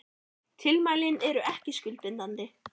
Tilmælin eru ekki skuldbindandi